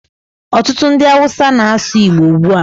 Ọtụtụ ndị Awụsa na-asụ Igbo ugbu a.